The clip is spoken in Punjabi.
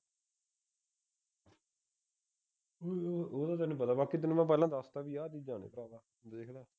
ਉਹ ਤਾਂ ਤੈਨੂੰ ਪਤਾ ਬਾਈ ਤਾਂ ਤੈਨੂੰ ਪਹਿਲਾਂ ਦੱਸ ਤਾਂ ਬਈ ਆਹ ਚੀਜਾਂ ਨੇ ਭਰਾਵਾਂ ਦੇਖ ਲਾ